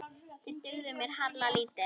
Þeir dugðu mér harla lítið.